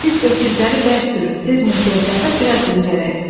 Siz öküzləri bərk sürün, tez meşəyə çatıb biraz dincələk.